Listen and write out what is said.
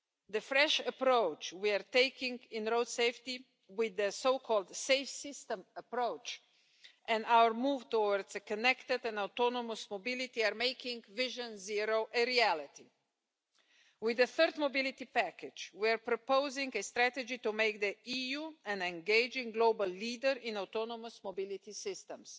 The fresh approach we are taking in road safety, with the so-called Safe System approach, and our move towards a connected and autonomous mobility are making Vision Zero a reality. With the third Mobility Package, we are proposing a strategy to make the EU an engaging global leader in autonomous mobility systems.